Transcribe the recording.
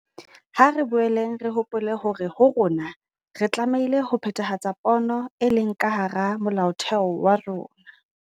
Ha re boeleng re hopole hore ho rona re tlameile ho phethahatsa pono e leng ka hara Molaotheo wa rona.